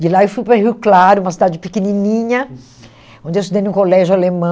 De lá eu fui para Rio Claro, uma cidade pequenininha, onde eu estudei num colégio alemão.